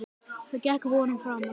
Það gekk vonum framar.